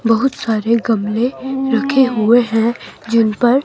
बहुत सारे गमले रखे हुए हैं जिन पर--